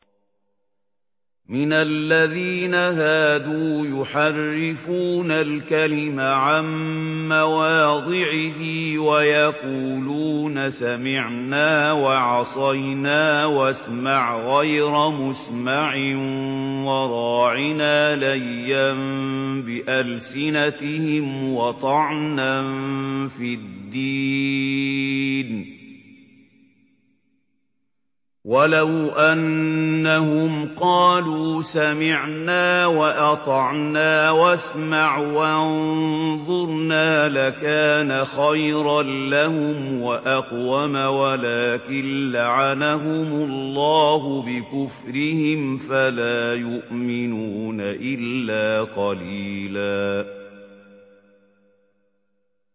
مِّنَ الَّذِينَ هَادُوا يُحَرِّفُونَ الْكَلِمَ عَن مَّوَاضِعِهِ وَيَقُولُونَ سَمِعْنَا وَعَصَيْنَا وَاسْمَعْ غَيْرَ مُسْمَعٍ وَرَاعِنَا لَيًّا بِأَلْسِنَتِهِمْ وَطَعْنًا فِي الدِّينِ ۚ وَلَوْ أَنَّهُمْ قَالُوا سَمِعْنَا وَأَطَعْنَا وَاسْمَعْ وَانظُرْنَا لَكَانَ خَيْرًا لَّهُمْ وَأَقْوَمَ وَلَٰكِن لَّعَنَهُمُ اللَّهُ بِكُفْرِهِمْ فَلَا يُؤْمِنُونَ إِلَّا قَلِيلًا